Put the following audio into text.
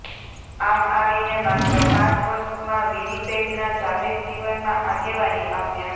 આમ આવીને માત્ર પાંચ વર્ષમાં વિનિપેગના જાહેરજીવનમાં આગેવાની પામ્યા